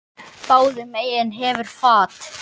Báðum megin hefur fat.